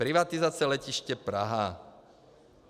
Privatizace Letiště Praha.